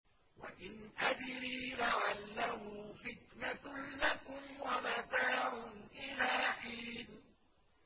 وَإِنْ أَدْرِي لَعَلَّهُ فِتْنَةٌ لَّكُمْ وَمَتَاعٌ إِلَىٰ حِينٍ